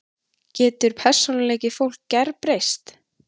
Getur persónuleiki fólks gerbreyst?